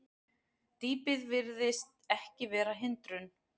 Dýpið virðist ekki vera hindrun